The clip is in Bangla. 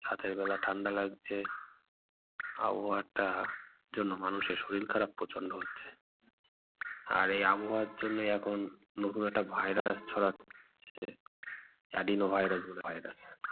রাতের বেলা ঠান্ডা লাগছে। আবহাওয়া টা যেন মানুষের শরীল খারাপ প্রচন্ড হচ্ছে। আর এই আবহাওয়ার জন্যই এখন নতুন একটা virus ছড়াচ্ছে। adeno virus বলে virus